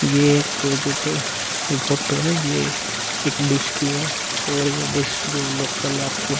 ये एक जो पे जो फोटो है ये एक डिश की है और ये डिश जो लोकल आपको --